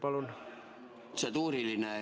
Palun!